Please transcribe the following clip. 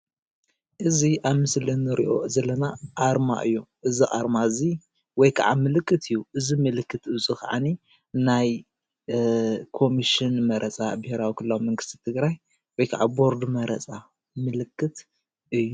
እዚ ኣብ ምሰሊ ንሪኦ ዘለና ኣርማ እዩ። እዚ ኣርማ እዚ ወይ ካዓ ምልክት እዩ። እዚ ምልክት እዚ ካዓኒ ናይ ኮምሽን መረፃ ብሄራዊ ክልላዊ መንግስቲ ትግራይ ወይ ካዓ ቦርድ መረፃ ምልክት እዩ።